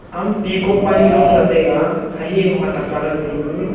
am peacock panu jong jataiga hahing ho hatak colour phaipu.